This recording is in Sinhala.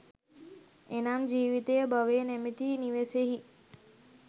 එනම් ජීවිතය භවය නමැති නිවසෙහි